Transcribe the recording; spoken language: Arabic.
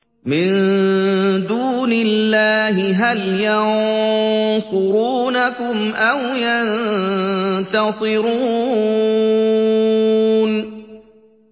مِن دُونِ اللَّهِ هَلْ يَنصُرُونَكُمْ أَوْ يَنتَصِرُونَ